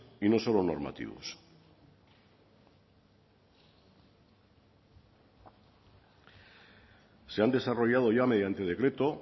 y no solo normativos se han desarrollado ya mediante decreto